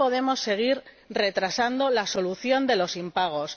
No podemos seguir retrasando la solución de los impagos.